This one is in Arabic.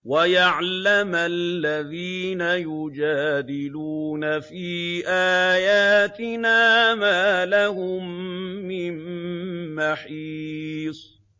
وَيَعْلَمَ الَّذِينَ يُجَادِلُونَ فِي آيَاتِنَا مَا لَهُم مِّن مَّحِيصٍ